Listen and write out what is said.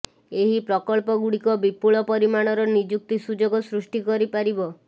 ଏହି ପ୍ରକଳ୍ପଗୁଡ଼ିକ ବିପୁଳ ପରିମାଣର ନିଯୁକ୍ତି ସୁଯୋଗ ସୃଷ୍ଟି କରିପାରିବ